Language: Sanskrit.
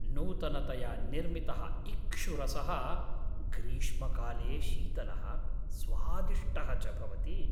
नूतनतया निर्मितः इक्षुरसः ग्रीष्मकाले शीतलः, स्वादिष्टः च भवति।